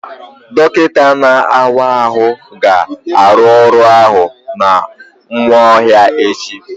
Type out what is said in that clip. Dọkịta na-awa ahụ ga-arụ ọrụ ahụ na Nwaohia echi.